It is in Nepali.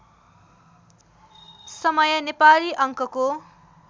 समय नेपाली अङ्कको